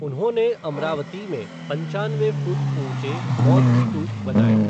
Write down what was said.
उन्होंने अमरावती में पंचानवे फ़ुट ऊंचे बौद्ध स्तूप बनाए।